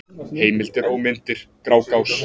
Heimildir og myndir: Grágás.